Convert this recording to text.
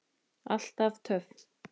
Alltaf töff.